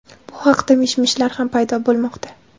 Bu haqda mish-mishlar ham paydo bo‘lmoqda.